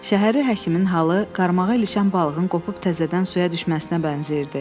Şəhəri həkimin halı qarmağa ilişən balığın qopub təzədən suya düşməsinə bənzəyirdi.